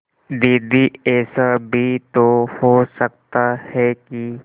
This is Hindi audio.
दीदी ऐसा भी तो हो सकता है कि